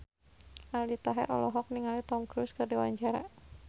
Aldi Taher olohok ningali Tom Cruise keur diwawancara